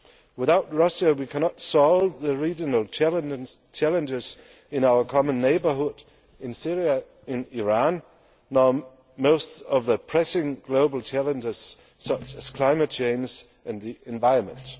Without Russia we cannot solve the regional challenges in our common neighbourhood, in Syria or Iran, or most of the pressing global challenges such as climate change and the environment.